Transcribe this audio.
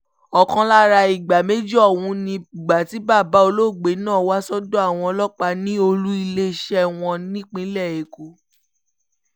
ọ̀kan lára ìgbà méjì ọ̀hún ni ìgbà tí bàbá olóògbé náà wá sọ́dọ̀ àwọn ọlọ́pàá ní olù-iléeṣẹ́ wọn nípínlẹ̀ èkó